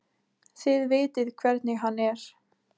Þið vitið hvernig hann er.